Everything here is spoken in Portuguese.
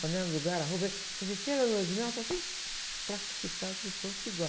Panela no lugar, a roupa, eh... Quer dizer, chega a lua de mel, está tudo plastificado, tudo pronto, tudo igual.